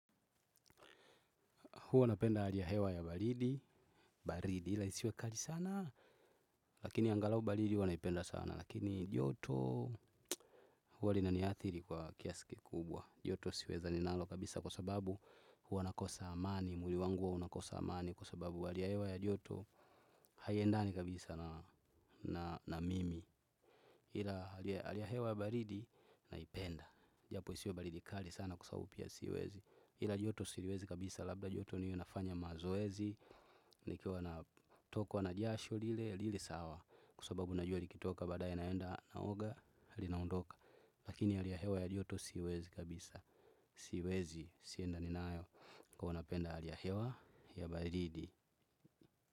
Huwa napenda ali ya hewa ya baridi, baridi ila isiwekali sana, lakini angalau baridi huwanaipenda sana. Lakini joto huo lina niathiri kwa kiasi ki kubwa. Joto siweza ninalo kabisa kwa sababu huwa nakosa amani, muili wangu uwa unakosa amani kwa sababu alia hewa ya joto haiendani kabisa na mimi. Hila alia hewa ya baridi naipenda. Japo isiwe baridi kali sana kwa sababu pia siwezi ila joto siriwezi kabisa, labda joto niwe nafanya mazoezi. Nikiwa natokwa na jasho lile, lile sawa kwa sababu najua likitoka baadaye naenda naoga, linaondoka. Lakini hali ya hewa ya joto siwezi kabisa. Siwezi, siendani nayo huwa napenda hali ya hewa ya baridi.